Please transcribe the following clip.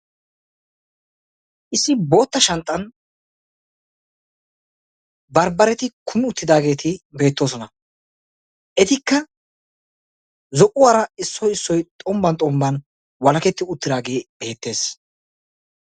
Issi bootta shanxxan bambbaretti kumi uttidaage beetosonna. Ettikka zo'uwara issoy issoy xombban walaketti uttidage beetees.